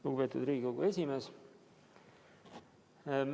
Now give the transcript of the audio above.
Lugupeetud Riigikogu esimees!